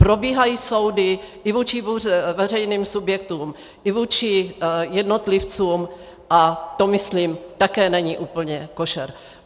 Probíhají soudy i vůči veřejným subjektům i vůči jednotlivcům a to myslím také není úplně košer.